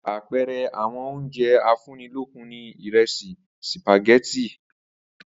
Àpe̩e̩re̩ àwo̩n oúnje̩ afúnnilókun ni ìre̩sì, sìpàgé̩tì